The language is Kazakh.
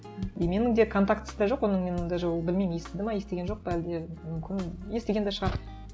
и менің де контактісі де жоқ оның мен даже ол білмеймін естіді ме естіген жоқ па әлде мүмкін естіген де шығар